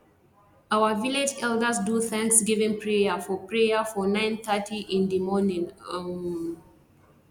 our village elders do thanskgiving prayer for prayer for nine thirty in di morning um